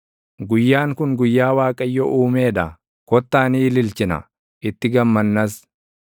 Guyyaan kun guyyaa Waaqayyo uumee dha; kottaa ni ililchina; itti gammannas.